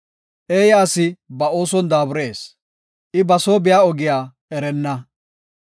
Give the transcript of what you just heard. Eeya asi ba ooson daaburees; I ba soo biya ogiya erenna.